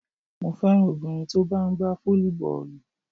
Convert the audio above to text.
Mo féràn obìnrin tó bá ń gbá fólíbọ́ọ̀lù.